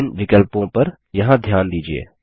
विभिन्न विकल्पों पर यहाँ ध्यान दीजिये